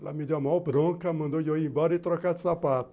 Ela me deu a mão branca, mandou eu ir embora e trocar de sapato.